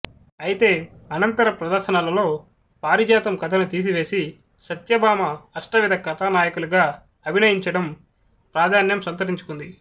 అయితే అనంతర ప్రదర్శనలలో పారిజాతం కథను తీసివేసి సత్యభామ అష్టవిధ కథానాయికలుగా అభినయించడం ప్రాధాన్యం సంతరించుకుంది